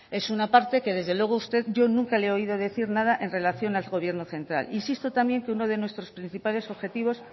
es una parte que desde luego usted yo nunca le he oído decir nada en relación al gobierno central insisto también que uno de nuestros principales objetivos